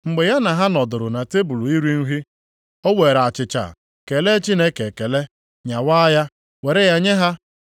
Mgbe ya na ha nọdụrụ na tebul iri nri, o were achịcha, kelee Chineke ekele, nyawaa ya were ya nye ha.